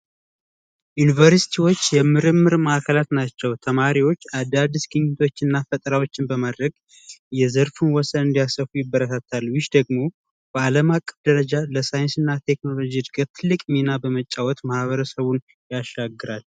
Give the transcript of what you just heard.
ዩኒቨርስቲዎች የምርምር ማዕከላት ናቸው ተማሪዎች አዳዲስቶችና ፈተናዎችን በማድረግ የዘርፉ ወሰን ይበረታታል ደግሞ በዓለም አቀፍ ደረጃ ለሳይንስና ቴክኖሎጂ እድገት ሚና በመጫወት ማህበረሰቡን ያሻግራል